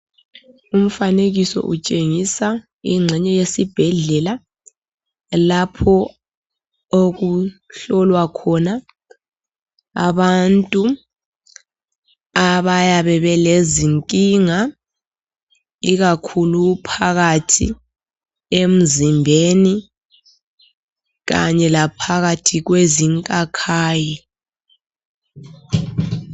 Umfanekiso utshengisa ingxenye yesibhedlela lapho okuhlolwa khona abantu abayabe belezinkinga ikakhulu phakathi emzimbeni kanye laphakathi kwezinkakhayi.